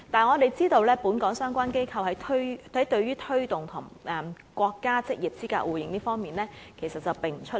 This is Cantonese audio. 我們知道，本港相關機構對於推動與國家職業資格證互認方面，並不出力。